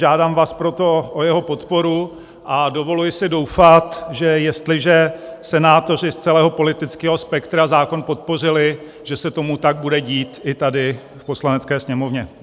Žádám vás proto o jeho podporu a dovoluji si doufat, že jestliže senátoři z celého politického spektra zákon podpořili, že se tomu tak bude dít i tady v Poslanecké sněmovně.